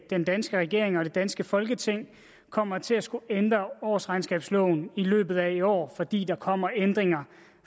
den danske regering og det danske folketing kommer til at skulle ændre årsregnskabsloven i løbet af i år fordi der kommer ændringer